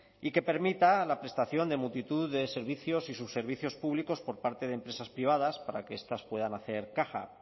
y que permita la prestación de multitud de servicios y subservicios públicos por parte de empresas privadas para que estas puedan hacer caja